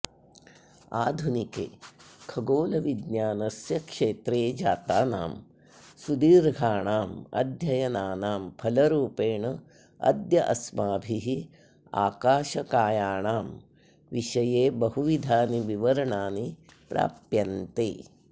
आधुनिके खगोलविज्ञानस्य क्षेत्रे जातानां सुदीर्घाणाम् अध्ययनानां फलरूपेण अद्य अस्माभिः आकाशकायाणां विषये बहुविधानि विवरणानि प्राप्यन्ते